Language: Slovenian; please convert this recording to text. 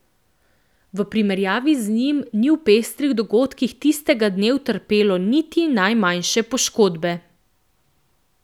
V primerjavi z njim ni v pestrih dogodkih tistega dne utrpelo niti najmanjše poškodbe.